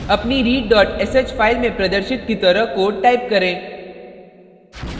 अपनी readsh file में प्रदर्शित की तरह कोड टाइप करें